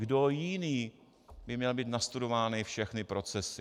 Kdo jiný by měl mít nastudovány všechny procesy?